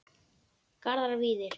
Garðar Víðir.